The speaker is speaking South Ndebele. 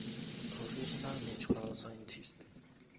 professional natural scientist